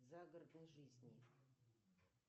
загородной жизни